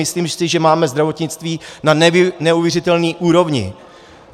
Myslím si, že máme zdravotnictví na neuvěřitelné úrovni.